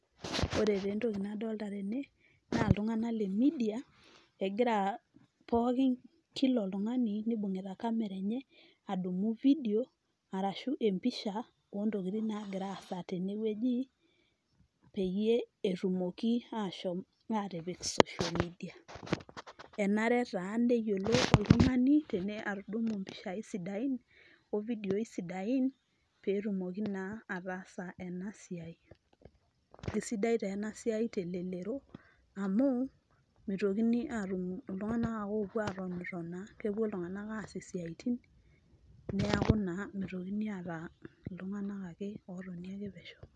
Ore taa entoki nadoolta tene naa iltunganak le midia egira pookin kila oltungani nibungita kamera enye adumu fidio arashu embisha oo ntokitin naagira aasa tene ogi, egii peyie etumoki aashom atipik social media enare taa neyiolou oltungani atadumu impishai sidain ofidioyi sidain pee etumoki naa ataasa ena siai. Kesidai taa ena siai telelero amu mitokini ake aatum iltunganak ake oopuo atonitonaa kepuo iltunganak was isiatin neeaku naa mitokini ake aata iltunganak ake oo Toni pesho.